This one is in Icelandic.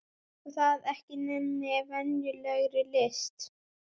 Og það ekki neinni venjulegri list!